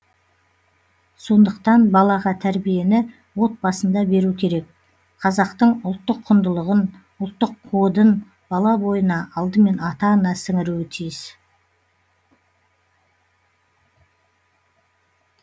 сондықтан балаға тәрбиені отбасында беру керек қазақтың ұлттық құндылығын ұлттық кодын бала бойына алдымен ата ана сіңіруі тиіс